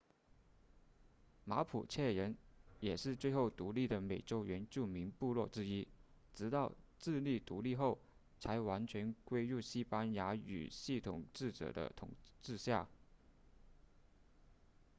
马普切人也是最后独立的美洲原住民部落之一直到智利独立后才完全归入西班牙语系统治者的统治下